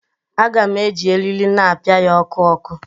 Aga m eji eriri na-apịa ya ọkụ ọkụ